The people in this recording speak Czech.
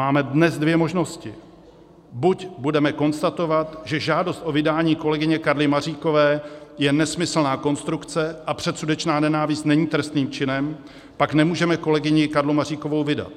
Máme dnes dvě možnosti, buď budeme konstatovat, že žádost o vydání kolegyně Karly Maříkové je nesmyslná konstrukce a předsudečná nenávist není trestným činem, a pak nemůžeme kolegyni Karlu Maříkovou vydat,